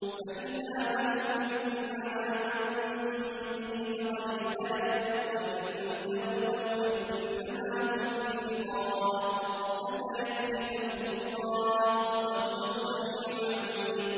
فَإِنْ آمَنُوا بِمِثْلِ مَا آمَنتُم بِهِ فَقَدِ اهْتَدَوا ۖ وَّإِن تَوَلَّوْا فَإِنَّمَا هُمْ فِي شِقَاقٍ ۖ فَسَيَكْفِيكَهُمُ اللَّهُ ۚ وَهُوَ السَّمِيعُ الْعَلِيمُ